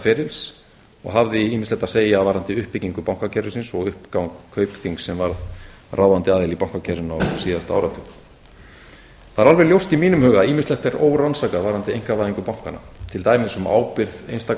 ferils og hafði ýmislegt að segja varðandi uppbyggingu bankakerfisins og uppgang kaupþings sem varð ráðandi aðili í bankakerfinu á síðasta áratug það er alveg ljóst í mínum huga að ýmislegt er órannsakað varðandi einkavæðingu bankanna til dæmis um ábyrgð einstakra